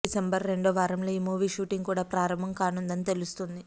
December రెండో వార్ంలో ఈ మూవీ షూటింగ్ కూడా ప్రారంభం కానుందని తెలుస్తోంది